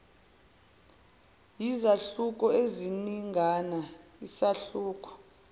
yizahluko eziningana isahluko